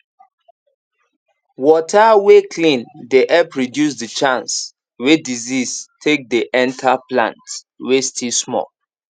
water way clean dey help reduce the chance way disease take dey enter plant way still small